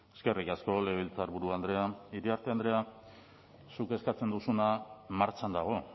eskerrik asko legebiltzarburu andrea iriarte andrea zuk eskatzen duzuna martxan dago